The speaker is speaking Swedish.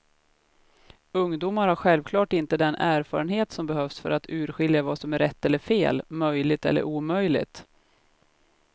Ungdomar har självklart inte den erfarenhet som behövs för att urskilja vad som är rätt eller fel, möjligt eller omöjligt.